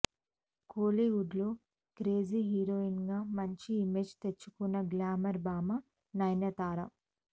కోలీవుడ్లో క్రేజీ హీరోయిన్గా మంచి ఇమేజ్ తెచ్చుకున్న గ్లామర్ భామ నయనతార